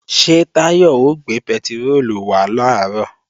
Ṣé Táyọ̀ ó gbé pẹtiróòlù wá làárọ̀?